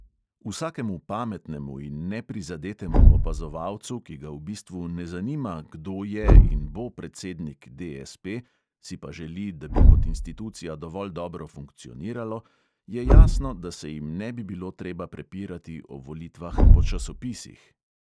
Vsakemu pametnemu in neprizadetemu opazovalcu, ki ga v bistvu ne zanima, kdo je in bo predsednik DSP, si pa želi, da bi kot institucija dovolj dobro funkcioniralo, je jasno, da se jim ne bi bilo treba prepirati o volitvah po časopisih.